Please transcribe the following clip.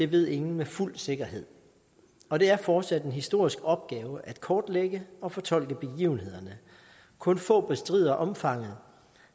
ved ingen med fuld sikkerhed og det er fortsat en historisk opgave at kortlægge og fortolke begivenhederne kun få bestrider omfanget